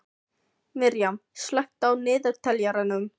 Miriam, slökktu á niðurteljaranum.